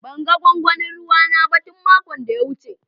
Ban gan gwangwanin ruwa na ba tun makon da ya wuce.